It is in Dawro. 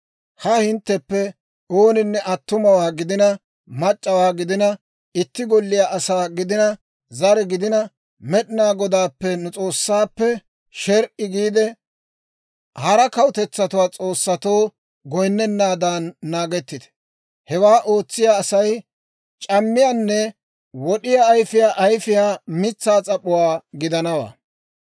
Ha hintteppe ooninne attumawaa gidina mac'c'awaa gidina, itti golliyaa asaa gidina zare gidina, Med'inaa Godaappe, nu S'oossaappe, sher"i giide, hara kawutetsatuwaa s'oossatoo goyinnennaadan naagettite. Hewaa ootsiyaa Asay c'ammiyaanne wod'iyaa ayfiyaa ayifiyaa mitsaa s'ap'uwaa gidanawaa.